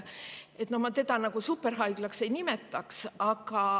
Mina seda superhaiglaks ei nimetaks.